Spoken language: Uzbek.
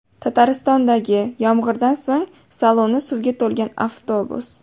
Tataristondagi yomg‘irdan so‘ng saloni suvga to‘lgan avtobus.